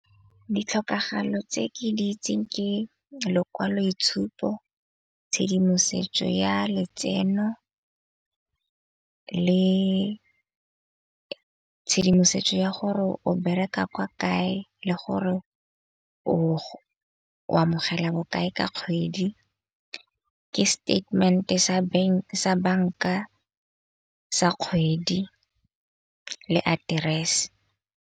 Ditlhokagalo tse ke di itseng ke lekwaloitshupo, tshedimosetso ya letseno le tshedimosetso ya gore o bereka kwa kae le gore o amogela bokae ka kgwedi. Ke statement-e sa sa banka sa kgwedi le aterese.